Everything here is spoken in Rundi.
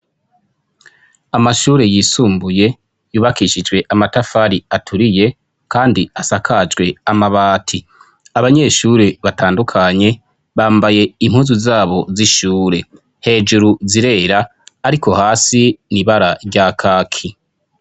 Amashure yisumbuye yubakishijwe amatafari aturiye kandi asakajwe amabati. Abanyeshuri batandukanye bambaye impuzu zabo z'ishure, hejuru zirera ariko hasi ni ibara rya kaki.